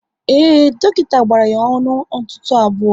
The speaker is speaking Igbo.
Ee, dọkịta gbara ya ọnụ ntụtụ abụọ